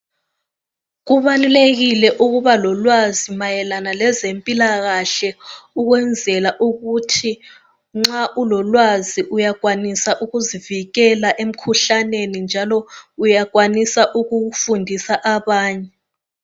Kubalulekile ukuba lolwazi mayelana lezempilakahle ukwenzela ukuthi nxa ulolwazi uyakwanisa ukuzivikela emikhuhlaneni njalo uyakwanisa ukufundisa abanye.